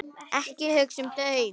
Ekki hugsa um þau!